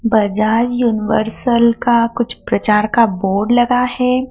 Bajaj Universal का कुछ प्रचार का बोर्ड लगा है।